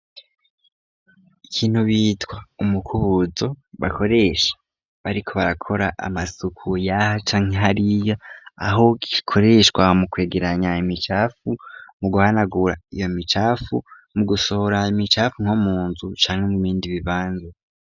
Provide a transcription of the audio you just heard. Ikintu bitwa ,umukubuzo, bakoresha bariko barakora Amasuku, yaha canke hariya aho gikoreshwa mu kwegeranya imicafu, mu guhanagura iyo micafu ,mu gusohora, imicafu ,nko munzu cangwa mubindi bibanza.